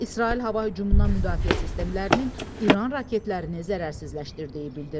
İsrail hava hücumundan müdafiə sistemlərinin İran raketlərini zərərsizləşdirdiyi bildirilir.